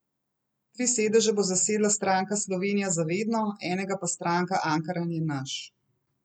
Tri sedeže bo zasedla stranka Slovenija za vedno, enega pa stranka Ankaran je naš.